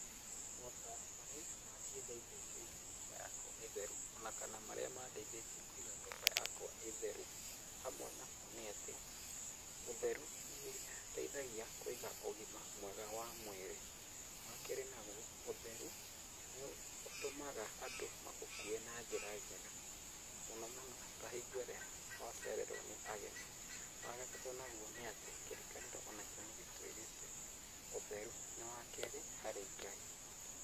Motaaro marĩa mangĩndeithia kũiga nyũmba yakwa ĩĩ theru ona kana marĩa mandeithĩtie kũiga nyũmba yakwa ĩĩ theru hamwe namo nĩ atĩ ũtheru nĩ ũteithagia kũiga ũgima mwega wa mwĩrĩ. Wakerĩ nagwo, ũtheru nĩ ũtũmaga andũ magũkue na njĩra njega mũno mũno ta hingo ĩrĩa wacererwo nĩ ageni. Wagatatũ nagwo nĩatĩ kĩrĩkanĩro onakĩo nĩ gĩtwĩrĩte ũtheru nĩ wakerĩ harĩ Ngai.